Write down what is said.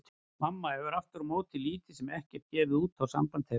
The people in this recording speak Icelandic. Mamma hefur aftur á móti lítið sem ekkert gefið út á samband þeirra.